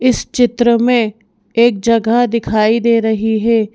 इस चित्र में एक जगह दिखाई दे रही है।